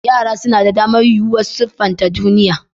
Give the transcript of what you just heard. Yara suna da damar yuwuwar siffanta duniya.